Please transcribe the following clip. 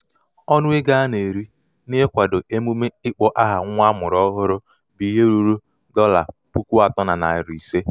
ọnụ ego a na-eri n'ịkwado a na-eri n'ịkwado emume ịkpọ aha nwa amụrụ ọhụrụ bụ ihe ruru dolla puku atọ na narị ise.